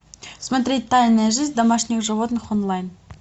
смотреть тайная жизнь домашних животных онлайн